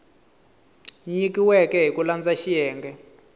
nyikiweke hi ku landza xiyenge